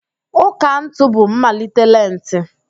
Ụ́kà ntụ bụ mmalite lenti